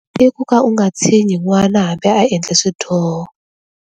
I ku ka u nga tshinyi n'wana hambi a endle swidyoho.